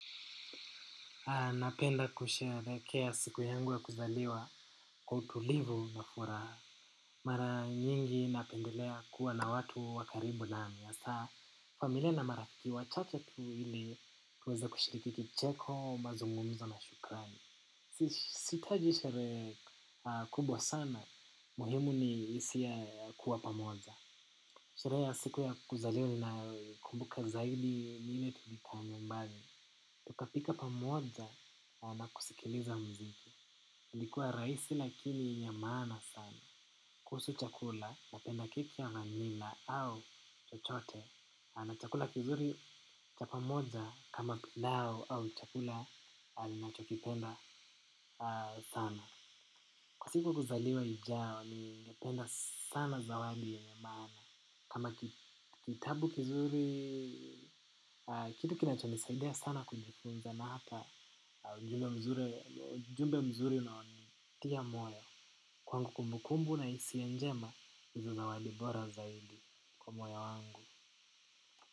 Napenda kusherehekea siku yangu ya kuzaliwa kwa utulivu na furaha. Mara nyingi napendelea kuwa na watu wa karibu nami hasa familia na marafiki wachache tu ili tuweze kushiriki kicheko mazungumzo na shukrani. Sihitaji sherehe kubwa sana muhimu ni hisia ya kuwa pamoja. Sherehe ya siku ya kuzaliwa ninayoikumbuka zaidi ni ile tulikuwa nyumbani. Tukapika pamoja na kusikiliza muziki ilikuwa rahisi lakini yenye maana sana. Kuhusu chakula napenda keki ya vanilla au chochote. Na chakula kizuri cha pamoja kama pilau au chakula ninachokipenda sana kwa siku kuzaliwa ijayo ningependa sana zawadi yenye maana. Kama kitabu kizuri kitu kinachonisaidia sana kujifunza na hata ujumbe mzuri unaonitia moyo. Kwangu kumbukumbu na hisia njema ndizo zawadi bora zaidi kwa moyo wangu.